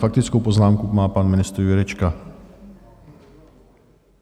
Faktickou poznámku má pan ministr Jurečka.